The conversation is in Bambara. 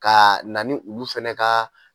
Ka na ni olu fɛnɛ ka